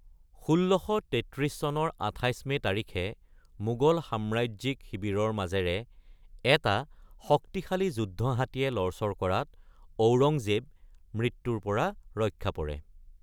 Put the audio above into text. ১৬৩৩ চনৰ ২৮ মে তাৰিখে মোগল সাম্ৰাজ্যিক শিবিৰৰ মাজেৰে এটা শক্তিশালী যুদ্ধ হাতীয়ে লৰচৰ কৰাত ঔৰংজেব মৃত্যুৰ পৰা ৰক্ষা পৰে।